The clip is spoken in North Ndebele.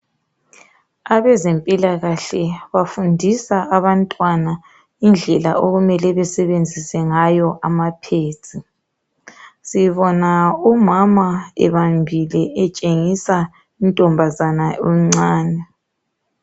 Abezempilakahle bafundisa abantwana indlela okumele besebenzise ngayo ama pads. Sibona umama ebambile etshengisa untombazana omncane.